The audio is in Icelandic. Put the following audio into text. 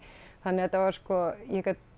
þannig að þetta var sko ég gat